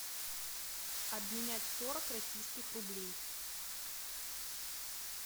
обменять сорок российских рублей